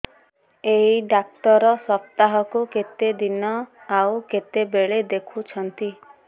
ଏଇ ଡ଼ାକ୍ତର ସପ୍ତାହକୁ କେତେଦିନ ଆଉ କେତେବେଳେ ଦେଖୁଛନ୍ତି